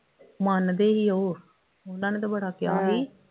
ਮੰਨਦੇ ਹੀ ਉਹ ਉਹਨਾਂ ਨੇ ਤੇ ਬੜਾ ਕਿਹਾ ਸੀ